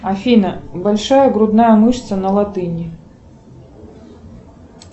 афина большая грудная мышца на латыни